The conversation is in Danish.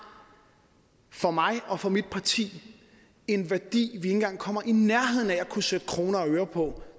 for mig og for mit parti en værdi at vi ikke engang kommer i nærheden af at kunne sætte kroner og øre på